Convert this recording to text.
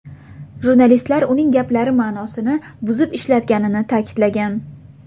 Jurnalistlar uning gaplari ma’nosini buzib ishlatganini ta’kidlagan.